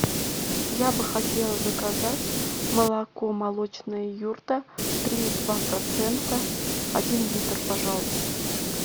я бы хотела заказать молоко молочная юрта три и два процента один литр пожалуйста